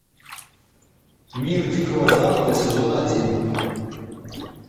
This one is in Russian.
мир дикого запада сезон один